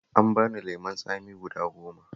An bani lemon tsami guda goma